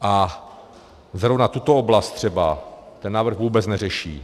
A zrovna tuto oblast třeba ten návrh vůbec neřeší.